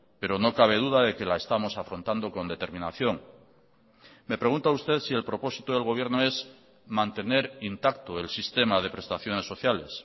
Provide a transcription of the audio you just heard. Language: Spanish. pero no cabe duda de que la estamos afrontando con determinación me pregunta usted si el propósito del gobierno es mantener intacto el sistema de prestaciones sociales